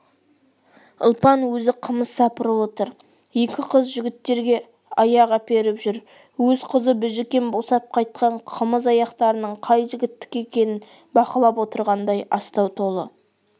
ұлпан өзі қымыз сапырып отыр екі қыз жігіттерге аяқ әперіп жүр өз қызы біжікен босап қайтқан қымыз аяқтарының қай жігіттікі екенін бақылап отырғандай астау толы